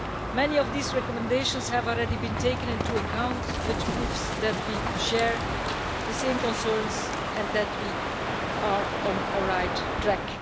Many of these recommendations have already been taken into account, which proves that we share the same concerns and that we are on the right track.